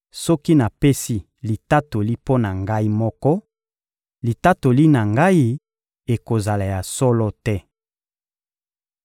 Soki napesi litatoli mpo na Ngai moko, litatoli na Ngai ekozala ya solo te.